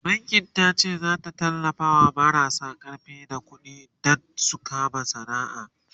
bankin tace zata tallafawa marasa karfi da ƙuɗi Dan su kama sana'a